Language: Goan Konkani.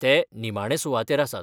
ते निमाणे सुवातेर आसात.